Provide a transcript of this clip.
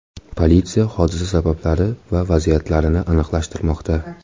Politsiya hodisa sabablari va vaziyatlarini aniqlashtirmoqda.